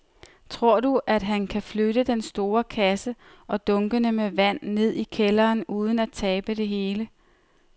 Tror du, at han kan flytte den store kasse og dunkene med vand ned i kælderen uden at tabe det hele?